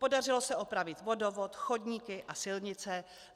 Podařilo se opravit vodovod, chodníky a silnice.